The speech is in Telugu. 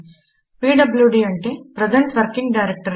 పీడ్ల్యూడీ అంటే ప్రజెంట్ వర్కింగ్ డైరెక్టరీ